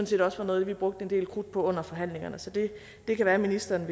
set også var noget vi brugte en del krudt på under forhandlingerne så det kan være ministeren